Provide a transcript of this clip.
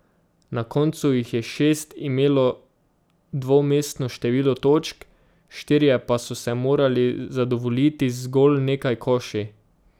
Na koncu jih je šest imelo dvomestno število točk, štirje pa so se morali zadovoljiti z zgolj nekaj koši.